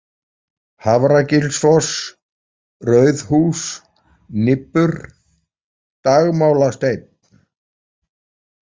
Hafragilsfoss, Rauðhús, Nibbur, Dagmálasteinn